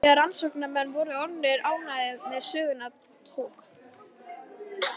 Þegar rannsóknarmenn voru orðnir ánægðir með söguna tók